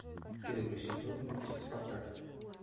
первый сезон мультик спартак